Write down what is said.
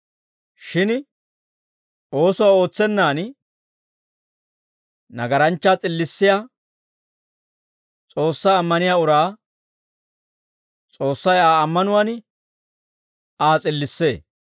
Shin oosuwaa ootsennaan, nagaranchchaa s'illissiyaa S'oossaa ammaniyaa uraa, S'oossay Aa ammanuwaan Aa s'illissee.